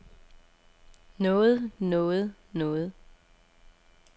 noget noget noget